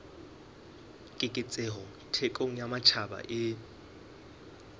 keketseho thekong ya matjhaba e